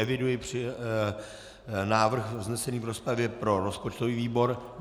Eviduji návrh vznesený v rozpravě pro rozpočtový výbor.